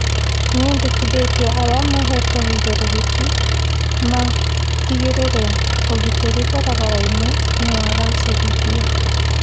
Nĩendekithĩtie arĩa mahetwo ũigĩrĩrĩki matigĩrĩre ũgitĩri barabara-inĩ nĩwagacĩrithio